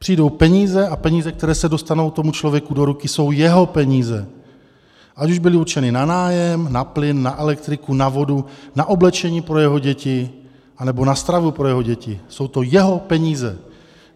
Přijdou peníze a peníze, které se dostanou tomu člověku do ruky, jsou jeho peníze, ať už byly určeny na nájem, na plyn, na elektriku, na vodu, na oblečení pro jeho děti anebo na stravu pro jeho děti, jsou to jeho peníze.